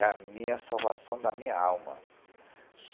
É a minha salvação da minha alma.